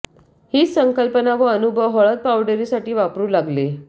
हीच संकल्पना व अनुभव हळद पावडरीसाठी वापरू लागले